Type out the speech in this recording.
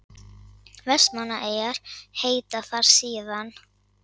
vestmannaeyjar heita þar síðan